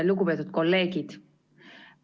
Lugupeetud kolleegid!